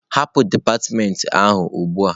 Hapụ dipatịmentị ahụ ugbu a!